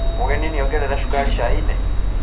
Mũgeni nĩongerera cukari cai-inĩ?